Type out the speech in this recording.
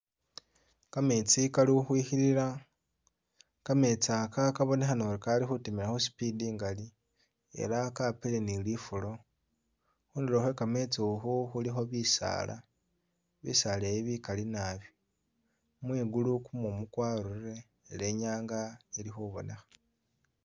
Kametsi kali u'khwikhilila, kametsi aka kabonekhana ori Kali khutimili khu'speed i'ngali ela kapile ni lifulo, khundulo khwekametsi khu khulikho bisaala, bisaala e'bi bikali naabi, mwigulu kumumu kwarurire ela e'nyanga ili khubonekha